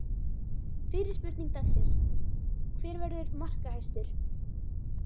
Fyrri spurning dagsins: Hver verður markahæstur?